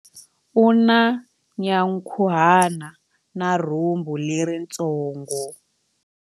U na nyankhuhana na rhumbu leritsongo.